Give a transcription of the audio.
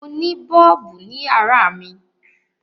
Mo ni bọ́ọ̀bù ní yàrá mi.